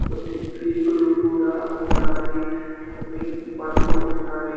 కొన్ని సికులు కూడా ఉన్నాయి కొన్ని బండ్లు ఉన్నాయి.